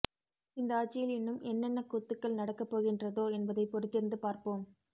இந்த ஆட்சியில் இன்னும் என்னென்ன கூத்துக்கள் நடக்க போகின்றதோ என்பதை பொறுத்திருந்து பார்ப்போம்